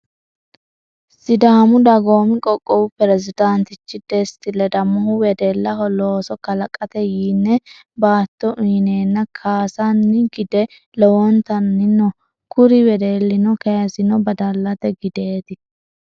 Sidaamu dagoomi qoqqowi pirezidaantichi desti ledamohu wedelaho looso kalaqate yinne baatto uyineenna kaasino gide towatanni no. Kuri wedelinni kayisino badallate gideeti.